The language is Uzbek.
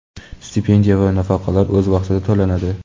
stipendiya va nafaqalar o‘z vaqtida to‘lanadi.